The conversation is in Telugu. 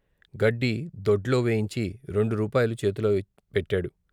గడ్డి దొడ్లో వేయించి రెండు రూపాయలు చేతిలో పెట్టాడు.